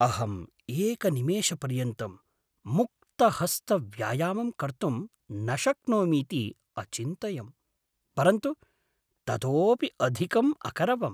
अहम् एकनिमेषपर्यन्तं मुक्तहस्तव्यायामं कर्तुं न शक्नोमीति अचिन्तयं, परन्तु ततोपि अधिकम् अकरवम्।